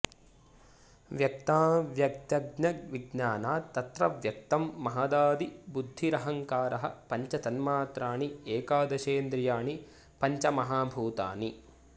व्यक्ताव्यक्तज्ञविज्ञानात् तत्र व्यक्तं महदादिबुद्धिरहंकारः पञ्च तन्मात्राणि एकादशेन्द्रियाणि पञ्चमहाभूतानि